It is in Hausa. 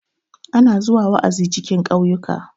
ana zuwa wa'azi cikin kauyuka